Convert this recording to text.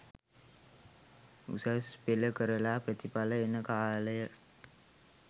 උසස් පෙළ කරලා ප්‍රතිඵල එන කාලය